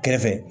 Kɛrɛfɛ